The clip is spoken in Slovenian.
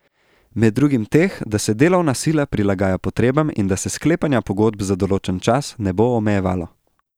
Med drugim teh, da se delovna sila prilagaja potrebam in da se sklepanja pogodb za določen čas ne bo omejevalo.